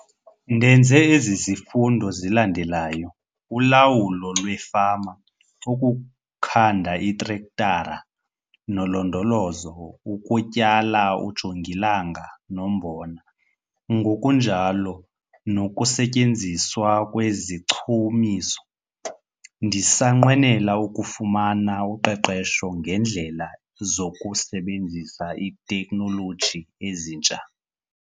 Ndenze ezi zifundo zilandelayo- Ulawulo lweFama, Ukukhanda iiTrektara noLondolozo, ukuTyala uJongilanga noMbona, ngokunjalo nokuSetyenziswa kweziChumiso. Ndisanqwenela ukufuma uqeqesho ngeendlela zokusebenzisa iitekhnoloji ezintsha.